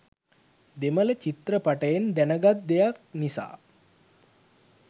දෙමළ චිත්‍රපටයෙන් දැනගත් දෙයක් නිසා